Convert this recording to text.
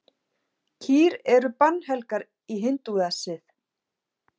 Kýr eru bannhelgar í hindúasið.